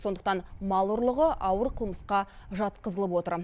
сондықтан мал ұрлығы ауыр қылмысқа жатқызылып отыр